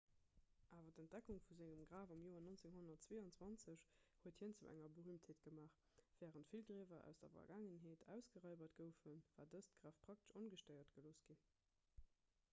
awer d'entdeckung vu sengem graf am joer 1922 huet hien zu enger berüümtheet gemaach wärend vill griewer aus der vergaangenheet ausgeraibert goufen war dëst graf praktesch ongestéiert gelooss ginn